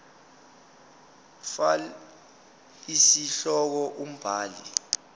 fal isihloko umbhali